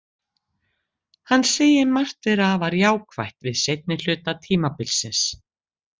Hann segir margt vera afar jákvætt við seinni hluta tímabilsins.